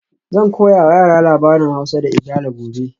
Zan koya wa yara labarin Hausa da Igala gobe